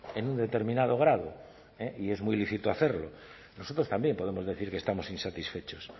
en un determinado grado y es muy lícito hacerlo nosotros también podemos decir que estamos insatisfechos